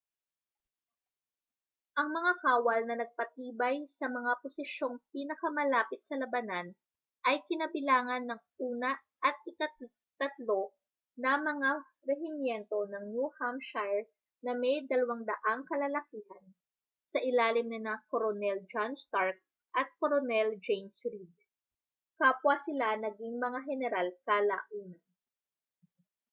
ang mga kawal na nagpatibay sa mga posisyong pinakamalapit sa labanan ay kinabilangan ng una at ika-3 na mga rehimyento ng new hampshire na may 200 kalalakihan sa ilalim nina koronel john stark at koronel james reed kapwa sila naging mga heneral kalaunan